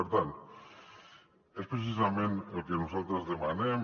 per tant és precisament el que nosaltres demanem